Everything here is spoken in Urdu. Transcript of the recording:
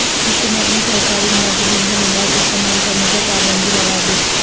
حکومت نے سرکاری ملازمین کے موبائل استعمال کرنے پر پابندی لگادی